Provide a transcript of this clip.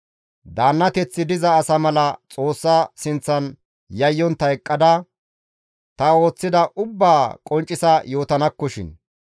Daannateththi diza asa mala Xoossa sinththan yayyontta eqqada ta ooththida ubbaa qonccisa yootanakkoshin.